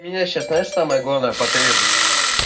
меня сейчас знаешь самая главная потребность